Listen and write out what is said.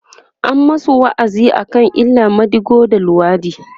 an masu wa'azi akan illan madigo da luwaɗi